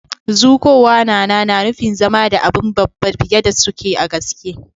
Zukowa na na nufin zama da abun babba fiyar da suke a gaske.